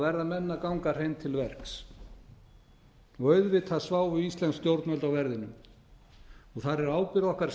verða menn að ganga hreint til verks auðvitað sjá íslensk stjórnvöld á verðinum þar er ábyrgð okkar